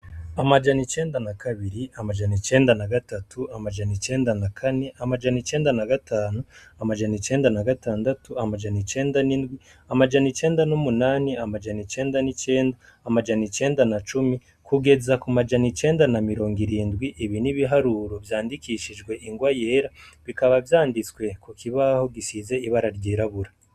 Amajana icenda na kabiri amajano icenda na gatatu amajano icenda na kane amajano icenda na gatanu amajana icenda na gatandatu amajano icenda n'indwi amajana icenda n'umunani amajana icenda n'icenda amajana icenda na cumi kugeza ku majano icenda na mirongo irindwi ibi n'ibiharuro vyandikishijwe ingwa yera bikaba vyanditswe ku kibaho gisize ibara ryirabura.